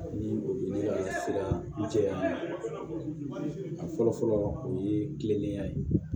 Ni o ye ne ka siran jɛya a fɔlɔ fɔlɔ o ye kilennenya ye